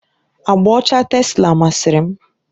Agba ọcha tesla masịrị m.